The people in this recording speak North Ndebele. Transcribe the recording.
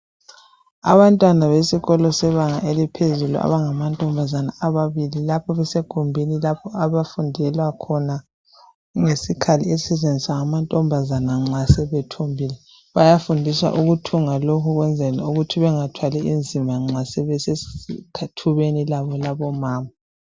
Abantwana besikolo sebanga eliphezulu abangama ntombazana ababili. Lapho besegumbini lapho abafundela khona ngesikhali esisetshenziswa ngamantombazana nxa sebethombile .Bayafundiswa ukuthunga lokhu ukwenzela ukuthi bengathwali nzima nxa besethubeni labo labomama .